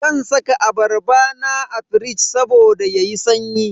Zan saka abarba na a firij saboda yayi sanyi.